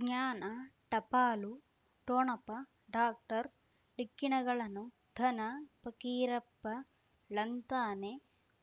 ಜ್ಞಾನ ಟಪಾಲು ಠೊಣಪ ಡಾಕ್ಟರ್ ಢಿಕ್ಕಿ ಣಗಳನು ಧನ ಫಕೀರಪ್ಪ ಳಂತಾನೆ